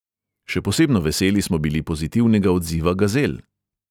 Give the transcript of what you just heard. Še posebno veseli smo bili pozitivnega odziva gazel.